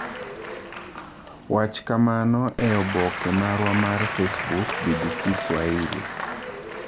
Wach kamano e oboke marwa mar facebook, BBC Swahili.